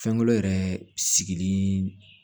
Fɛngɛ yɛrɛ sigili